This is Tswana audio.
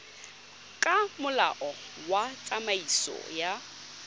ka molao wa tsamaiso ya